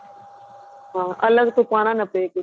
ਹਾਂ ਅਲੱਗ ਤੋਂ ਪਾਨਾ ਨਾ ਪੇ ਕੁੱਛ